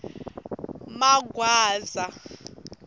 magwaza